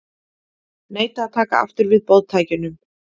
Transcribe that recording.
Neita að taka aftur við boðtækjunum